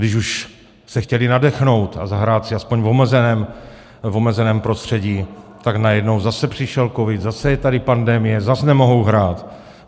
Když už se chtěla nadechnout a zahrát si aspoň v omezeném prostředí, tak najednou zase přišel covid, zase je tady pandemie, zas nemohou hrát.